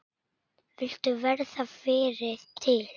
Vildu verða fyrri til.